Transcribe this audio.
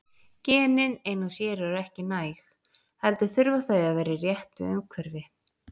Genin ein og sér eru ekki næg, heldur þurfa þau að vera í réttu umhverfi.